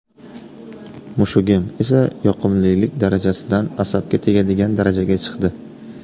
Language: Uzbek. Mushugim esa yoqimlilik darajasidan asabga tegadigan darajaga chiqdi”.